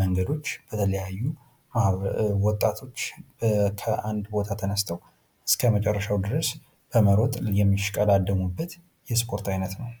መንገዶች በተለያዩ ወጣቶች ከአንድ ቦታ ተነስተው እስከ መጨረሻው ድረስ በመሮጥ የሚሽቀዳደሙበት የስፖርት ዓይነት ነው ።